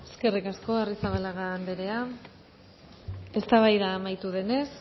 eskerrik asko arrizabalaga andrea eztabaida amaitu denez